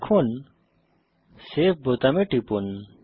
এখন সেভ বোতামে টিপুন